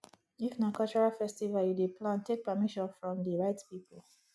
if na cultural festival you dey plan take permission from di right pipo